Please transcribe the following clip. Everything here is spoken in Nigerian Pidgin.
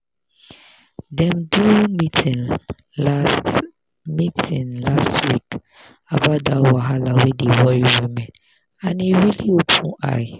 dem do meeting last meeting last week about that wahala wey dey worry women and e really open eye.